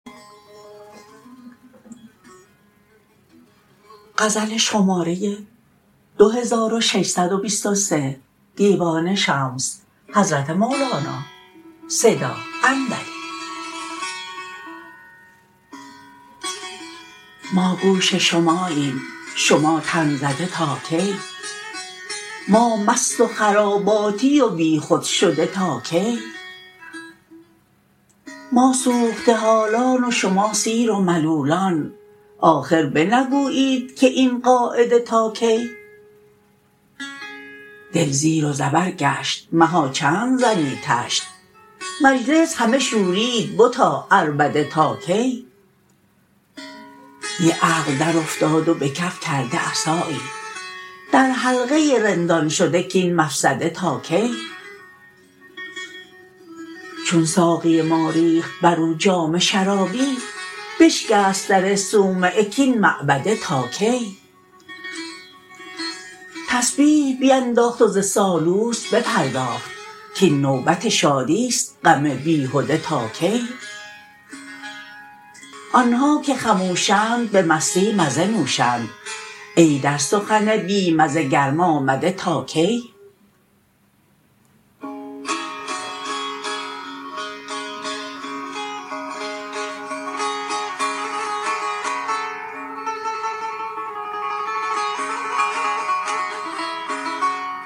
ما گوش شماییم شما تن زده تا کی ما مست و خراباتی و بیخود شده تا کی ما سوخته حالان و شما سیر و ملولان آخر بنگویید که این قاعده تا کی دل زیر و زبر گشت مها چند زنی طشت مجلس همه شوریده بتا عربده تا کی دی عقل درافتاد و به کف کرده عصایی در حلقه رندان شده کاین مفسده تا کی چون ساقی ما ریخت بر او جام شرابی بشکست در صومعه کاین معبده تا کی تسبیح بینداخت و ز سالوس بپرداخت کاین نوبت شادی است غم بیهده تا کی آن ها که خموشند به مستی مزه نوشند ای در سخن بی مزه گرم آمده تا کی